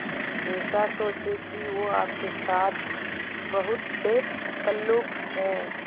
ऐसा सोचें कि वो आपके साथ बहुत बेतकल्लुफ़ है